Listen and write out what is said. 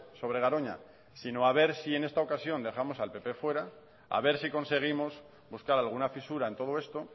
sobre garoña sino a ver si en esta ocasión dejamos al pp fuera a ver si conseguimos buscar alguna fisura en todo esto